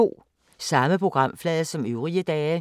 Samme programflade som øvrige dage